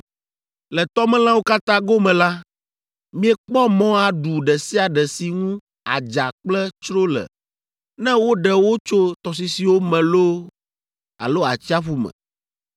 “ ‘Le tɔmelãwo katã gome la, miekpɔ mɔ aɖu ɖe sia ɖe si ŋu adza kple tsro le, ne woɖe wo tso tɔsisiwo me loo alo atsiaƒu me.